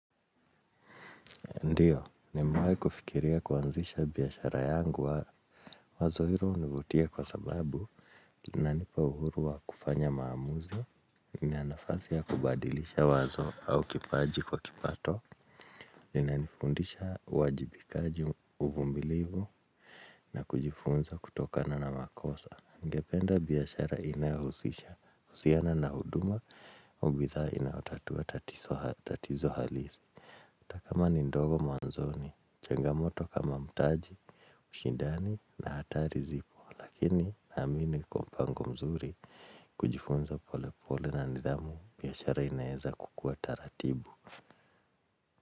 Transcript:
Ndiyo, nimewahi kufikiria kuanzisha biashara yangu wazo hilo hunivutia kwa sababu inanipa uhuru wa kufanya maamuzi, na nafasi ya kubadilisha wazo au kipaji kwa kipato inanifundisha uwajibikaji uvumilivu na kujifunza kutokana na makosa. Ningependa biashara inahusisha, huduma, au bidhaa inayotatua tatizo halisi ata kama ni ndogo mwanzoni, changamoto kama mtaji, ushindani na hatari zipo. Lakini naamini kwa mpango mzuri kujifunza pole pole na nithamu biashara inaweza kukua taratibu.